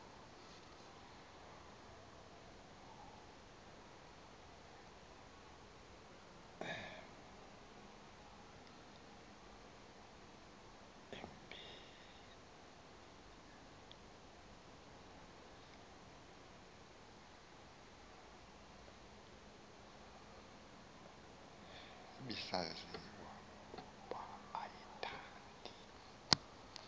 ibisaziwa ukuba ayithandi